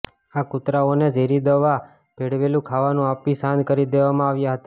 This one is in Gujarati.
આ કૂતરાઓને ઝેરીદવા ભેળવેલું ખાવાનું આપી શાંત કરી દેવામાં આવ્યા હતા